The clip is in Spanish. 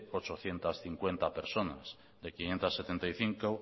ochocientos cincuenta personas de quinientos setenta y cinco